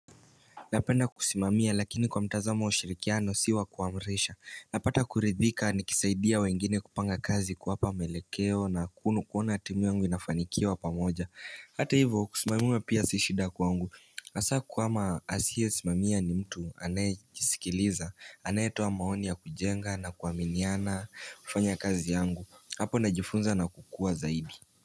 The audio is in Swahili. Napenda kusimamia lakini kwa mtazamo ushirikiano si wa kuamrisha Napata kuridhika nikisaidia wengine kupanga kazi kuwapa maelekeo na kunu kuona timu yangu inafanikiwa pamoja Hata hivo kusimamiwa pia si shida kwangu Asa kwama asiyesimamia ni mtu anajisikiliza Anayetoa maoni ya kujenga na kuaminiana kufanya kazi yangu Hapo najifunza na kukua zaidi.